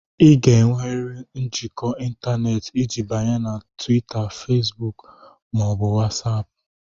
Ị ga-enwerịrị njikọ ịntanetị iji banye na Twita, Fesbuk ma ọ bụ Watsapu